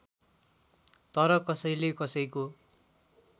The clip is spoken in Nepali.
तर कसैले कसैको